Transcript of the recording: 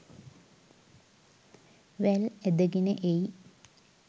වැල් ඇදගෙන එයි.